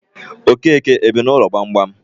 Okeke ebi n'ụlọ gbamgbam?